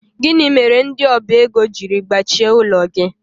Gịnị mere ndị ọba ego jiri gbachie ụlọ gị?